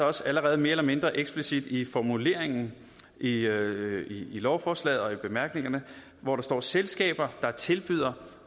også allerede mere eller mindre eksplicit i formuleringen i i lovforslaget og i bemærkningerne hvor der står at selskaber der tilbyder